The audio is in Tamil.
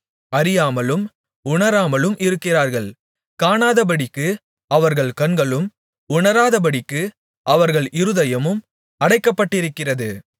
அறியாமலும் உணராமலும் இருக்கிறார்கள் காணாதபடிக்கு அவர்கள் கண்களும் உணராதபடிக்கு அவர்கள் இருதயமும் அடைக்கப்பட்டிருக்கிறது